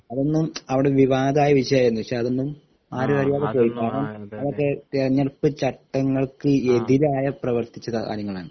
അതൊന്നും അവിടെ വിവാദമായ വിഷയമായിരുന്നു പക്ഷെ അതൊന്നും ആരും അധികം അതൊക്കെ തിരഞ്ഞെടുപ്പ് ചട്ടങ്ങൾക്ക് എതിരായി പ്രവർത്തിച്ച കാര്യങ്ങളാണ്